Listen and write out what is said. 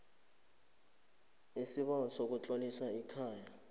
isibawo sokutlolisa ikhaya